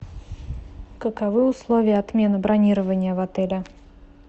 каковы условия отмены бронирования в отеле